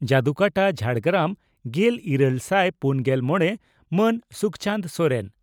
ᱡᱚᱫᱩᱠᱟᱴᱟ ᱡᱷᱟᱲᱜᱨᱟᱢ᱾ᱜᱮᱞ ᱤᱨᱟᱹᱞ ᱥᱟᱭ ᱯᱩᱱᱜᱮᱞ ᱢᱚᱲᱮ ᱹ ᱢᱟᱱ ᱥᱩᱠᱪᱟᱸᱫᱽ ᱥᱚᱨᱮᱱ